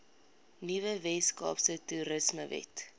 nuwe weskaapse toerismewet